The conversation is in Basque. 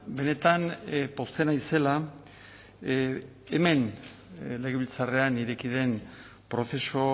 benetan pozten naizela hemen legebiltzarrean ireki den prozesu